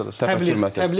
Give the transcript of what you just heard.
Təfəkkür məsələsi.